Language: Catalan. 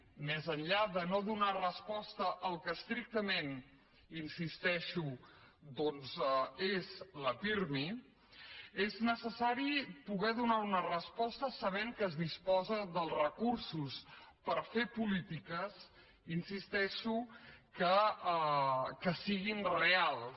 més enllà de no donar resposta al que estrictament hi insisteixo doncs és la pirmi és necessari poder donar una resposta sabent que es disposa dels recursos per fer polítiques hi insisteixo que siguin reals